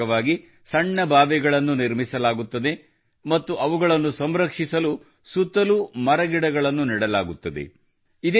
ಇದರ ಭಾಗವಾಗಿ ಸಣ್ಣ ಬಾವಿಗಳನ್ನು ನಿರ್ಮಿಸಲಾಗುತ್ತದೆ ಮತ್ತು ಅವುಗಳನ್ನು ಸಂರಕ್ಷಿಸಲು ಸುತ್ತಲೂ ಮರಗಿಡಗಳನ್ನು ನೆಡಲಾಗುತ್ತದೆ